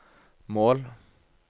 mål